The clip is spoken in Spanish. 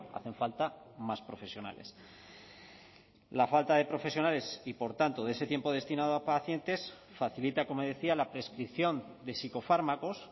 hacen falta más profesionales la falta de profesionales y por tanto de ese tiempo destinado a pacientes facilita como decía la prescripción de psicofármacos